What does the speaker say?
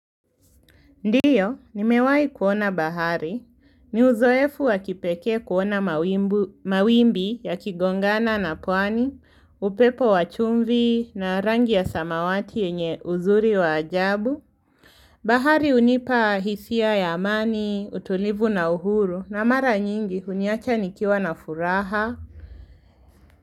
Ndio, nimewai kuona bahari. Ni uzoefu wakipekee kuona mawimbi yakigongana na pwani, upepo wachumvi na rangi ya samawati yenye uzuri wa ajabu. Bahari hunipa hisia ya amani, utulivu na uhuru na mara nyingi huniacha nikiwa na furaha.